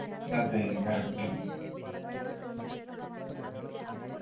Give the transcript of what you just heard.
അതെ correct